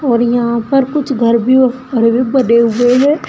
और यहां पर कुछ घर भी घर भी बने हुए हैं।